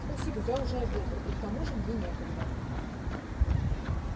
спасибо я уже обедал и к тому же мне некогда